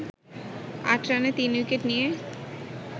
৮ রানে ৩ উইকেট নিয়ে